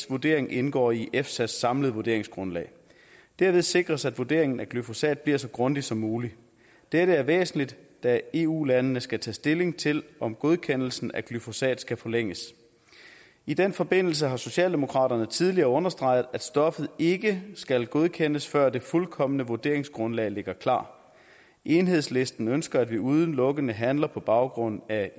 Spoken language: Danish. vurdering indgår i efsas samlede vurderingsgrundlag derved sikres at vurderingen af glyfosat bliver så grundig som muligt dette er væsentligt da eu landene skal tage stilling til om godkendelsen af glyfosat skal forlænges i den forbindelse har socialdemokraterne tidligere understreget at stoffet ikke skal godkendes før det fuldkomne vurderingsgrundlag ligger klart enhedslisten ønsker at vi udelukkende handler på baggrund af